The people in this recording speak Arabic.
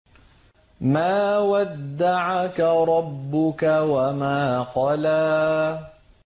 مَا وَدَّعَكَ رَبُّكَ وَمَا قَلَىٰ